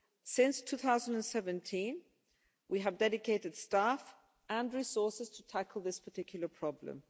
Since 2017, we have dedicated staff and resources to tackle this particular problem.